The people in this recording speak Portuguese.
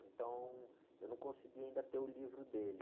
Então, eu não consegui ainda ter o livro dele.